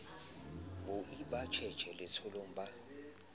boi ba tjhetjhe letsholong ba